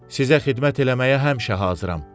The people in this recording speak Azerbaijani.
Sizə xidmət eləməyə həmişə hazıram.